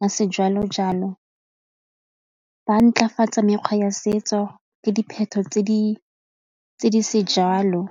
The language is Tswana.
ya sejalo-jalo ba mekgwa ya setso le dipheto tse di sejalo.